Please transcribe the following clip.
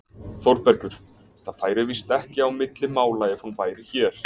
ÞÓRBERGUR: Það færi víst ekki á milli mála ef hún væri hér!